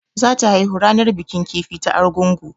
Za ta haihu ranar bikin kifi ta Argungu